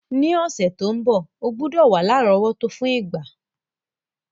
Ni òsẹ̀ to n bo, o gbúdọ̀ wa lárọ̀wọ́tó fún ìgbá...